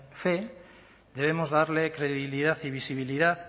fe debemos darle credibilidad y visibilidad